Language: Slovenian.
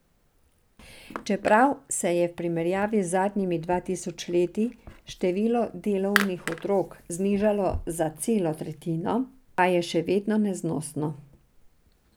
Čeprav se je v primerjavi z zadnjimi dva tisoč leti število delovnih otrok znižalo za celo tretjino, pa je še vedno neznosno.